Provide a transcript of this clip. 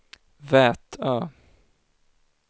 Vätö